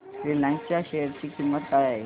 Reliance च्या share ची किंमत काय आहे